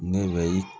Ne bɛ i